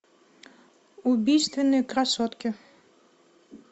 убийственные красотки